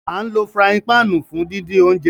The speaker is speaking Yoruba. Àǹ lo furàyin pạạnu fun didin ounjẹ.